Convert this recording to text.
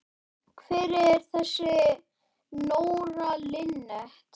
Hver er þessi Nóra Linnet?